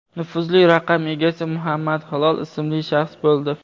Nufuzli raqam egasi Muhammad Hilol ismli shaxs bo‘ldi.